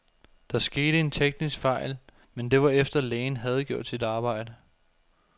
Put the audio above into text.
Der skete en teknisk fejl, men det var efter, lægen havde gjort sit arbejde.